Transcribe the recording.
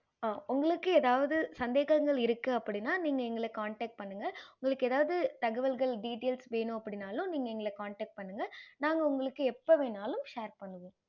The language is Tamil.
ஆஹ் உங்களுக்கு எதாவது சந்தேகங்கள் இருக்கு அப்படின்னா நீங்க எங்கள connect பண்ணுங்க உங்களுக்கு எதாவது தகவல்கள் details வென்னும் அப்படின்னால்லும் நீங்க எங்கள connect பண்ணுங்க நாங்க உங்களுக்கு எப்போ வேன்னுனாலும் share பன்றோம்